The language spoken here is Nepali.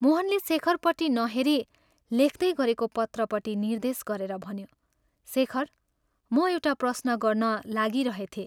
मोहनले शेखरपट्टि नहेरी, लेख्तै गरेको पत्रपट्टि निर्देश गरेर भन्यो " शेखर, म एउटा प्रश्न गर्न लागिरहेथें।